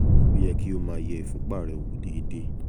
ó yẹ kí o máa yẹ ìfúnpá rẹ wò déédéé